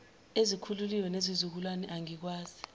ezikhulile nezizukulwane angikwazi